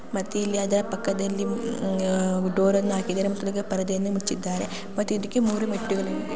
ಮತ್ತೆ ಇಲ್ಲಿ ಅದರ ಪಕ್ಕದಲ್ಲಿ ಡೋರ್ ಅನ್ನು ಹಾಕಿದ್ದಾರೆ ಪರದೆಯನ್ನು ಮುಚ್ಚಿದ್ದಾರೆ ಮತ್ತೆ ಇದಕ್ಕೆ ಮೂರು ಮೆಟ್ಟಿಲುಗಳಿವೆ.